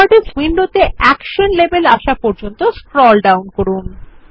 properties উইন্ডোতে action label আসা পর্যন্ত স্ক্রল ডাউন করুন